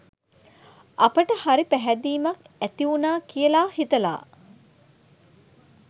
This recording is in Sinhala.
අපට හරි පැහැදීමක් ඇතිවුණා කියලා හිතලා